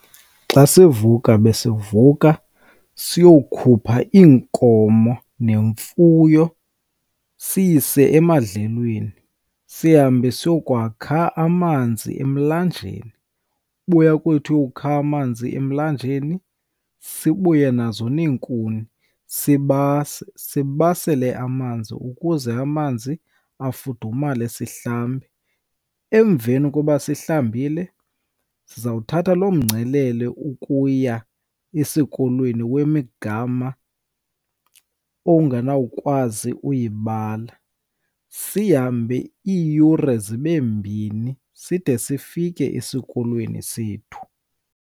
Xa sivuka besivuka siyokukhupha iinkomo nemfuyo siyise emadlelweni, sihambe siye yokwakha amanzi emlanjeni. Ubuya kwethu ukha amanzi emlanjeni sibuye nazo neenkuni sibase, sibasele amanzi ukuze amanzi afudumale sihlambe. Emveni koba sihlambile, sizawuthatha loo mgcelele ukuya esikolweni wemigama ongenawukwazi uyibala. Sihambe iiyure zibe mbini side sifike esikolweni sethu.